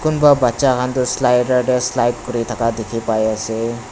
kunba bachan khan toh slider te slide kurikena dekhi bai ase.